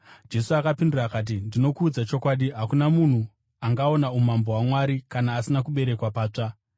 Jesu akapindura akati, “Ndinokuudza chokwadi, hakuna munhu angaona umambo hwaMwari kana asina kuberekwa patsva.”